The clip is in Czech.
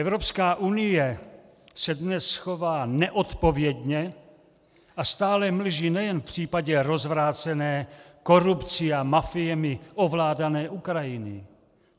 Evropská unie se dnes chová neodpovědně a stále mlží nejen v případě rozvrácené, korupcí a mafiemi ovládané Ukrajiny.